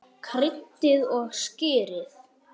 Kryddið og sykrið.